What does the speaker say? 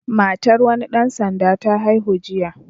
Matar wani ɗan sanda ta haihu jiya.